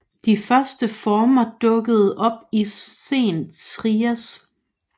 De første former dukkede op i sen Trias